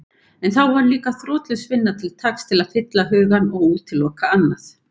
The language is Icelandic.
En þá var líka þrotlaus vinna til taks til að fylla hugann og útiloka annað.